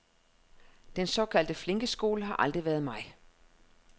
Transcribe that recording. Den såkaldte flinkeskole har aldrig været mig.